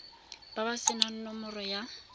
ba ba senang nomoro ya